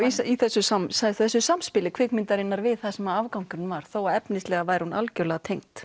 í þessu þessu samspili kvikmyndarinnar við það sem afgangurinn var þó að efnislega væri hún algjörlega tengd